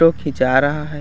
Photo खींचा रहा है।